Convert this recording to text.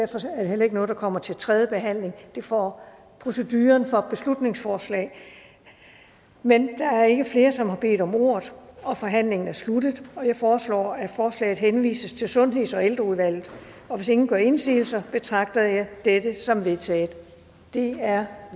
heller ikke noget der kommer til tredje behandling det får proceduren for beslutningsforslag men der er ikke flere som har bedt om ordet og forhandlingen er sluttet jeg foreslår at forslaget henvises til sundheds og ældreudvalget og hvis ingen gør indsigelse betragter jeg dette som vedtaget det er